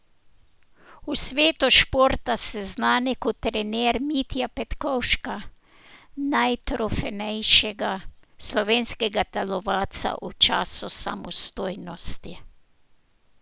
V svetu športa ste znan kot trener Mitje Petkovška, najtrofejnejšega slovenskega telovadca v času samostojnosti.